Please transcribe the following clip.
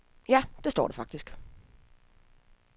Ja, det står der faktisk.